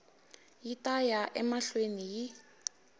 yi ta ya emahlweni yi